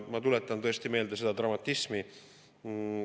Ma tuletan meelde seda dramatismi …